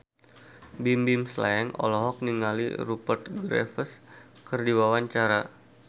Bimbim Slank olohok ningali Rupert Graves keur diwawancara